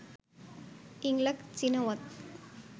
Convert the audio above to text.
Yingluck Shinawatra